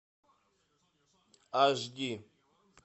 аш ди